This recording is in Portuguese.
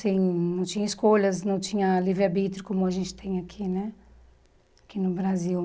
Sem não tinha escolhas, não tinha livre-arbítrio como a gente tem aqui né aqui no Brasil.